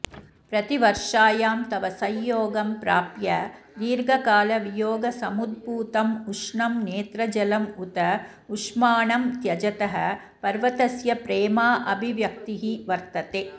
प्रतिवर्षायां तव संयोगं प्राप्य दीर्घकालवियोगसमुद्भूतम् उष्णं नेत्रजलम् उत उष्माणं त्यजतः पर्वतस्य प्रेमाभिव्यक्तिः वर्तते